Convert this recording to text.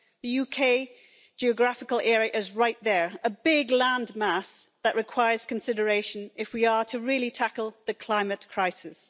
The UK's geographical area is right there a big land mass that requires consideration if we are to really tackle the climate crisis.